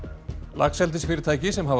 laxeldisfyrirtæki sem hafa